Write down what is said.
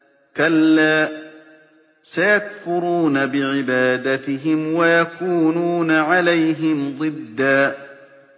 كَلَّا ۚ سَيَكْفُرُونَ بِعِبَادَتِهِمْ وَيَكُونُونَ عَلَيْهِمْ ضِدًّا